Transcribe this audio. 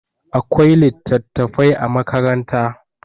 akwai litattafai a makaranta